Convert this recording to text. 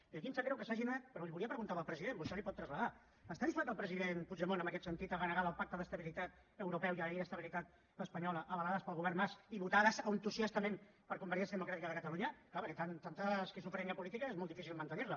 i aquí em sap greu que se n’hagin anat però li ho volia preguntar al president vostè li ho pot traslladar està disposat el president puigdemont en aquest sentit a renegar del pacte d’estabilitat europeu i la llei d’estabilitat espanyola avalades pel govern mas i votades entusiastament per convergència democràtica de catalunya clar perquè tanta esquizofrènia política és molt difícil mantenir la